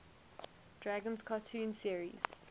dragons cartoon series